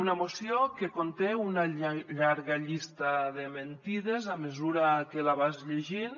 una moció que conté una llarga llista de mentides a mesura que la vas llegint